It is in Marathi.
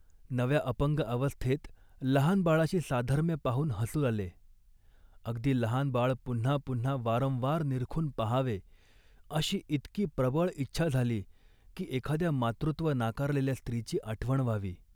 नव्या अपंग अवस्थेत लहान बाळाशी साधर्म्य पाहून हसू आले. अगदी लहान बाळ पुन्हा पुन्हा वारंवार निरखून पाहावे अशी इतकी प्रबळ इच्छा झाली, की एखाद्या मातृत्व नाकारलेल्या स्त्रीची आठवण व्हावी